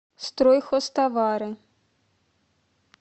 стройхозтовары